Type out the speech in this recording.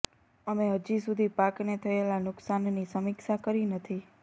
અમે હજી સુધી પાકને થયેલા નુકસાનની સમીક્ષા કરી નથી